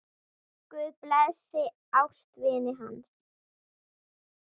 Guð blessi ástvini hans.